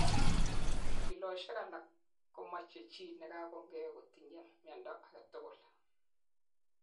chikilishoshek alak komoche chi nekagongei kotinyei miondo agetugul